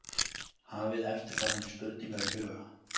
Hafið eftirfarandi spurningar í huga